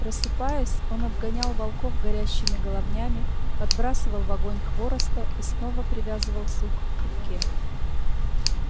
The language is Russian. просыпаясь он отгонял волков горящими головнями подбрасывал в огонь хвороста и снова привязывал сук к руке